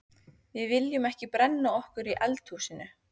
Við viljum ekki brenna okkur í eldhúsinu.